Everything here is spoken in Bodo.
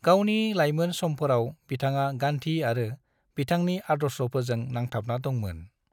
गावनि लायमोन समफोराव, बिथाङा गांधी आरो बिथांनि आदर्शफोरजों नांथाबना दंमोन।